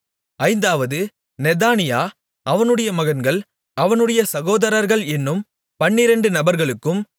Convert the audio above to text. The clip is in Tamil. ஐந்தாவது நெதானியா அவனுடைய மகன்கள் அவனுடைய சகோதரர்கள் என்னும் பன்னிரெண்டு நபர்களுக்கும்